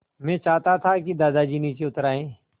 मैं चाहता था कि दादाजी नीचे उतर आएँ